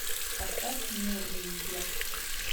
поставь нюрнберг